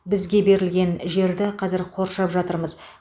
бізге берілген жерді қазір қоршап жатырмыз